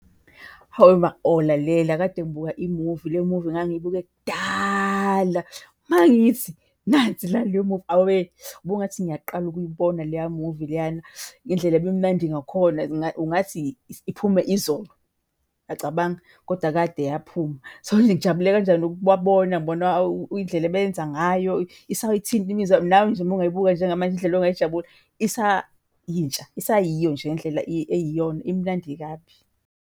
Hawe ma oh lalela, kade ngibuka i-movie, le movie ngangiyibuke kudala. Mangithi, nansi la le movie. Awe, bungathi ngiyaqala ukuyibona leya movie leyana ngendlela ibi mnandi ngakhona ungathi iphume izolo, uyacabanga? Koda kade yaphuma. So manje ngijabule kanjani ukubabona ngibona indlela ebeyenza ngayo, isayithinta imizwa. Nawe nje mongayibuka njengamanje indlela ongayijabula. Isayintsha, isayiyo nje ngendlela eyiyona. Imnandi kabi.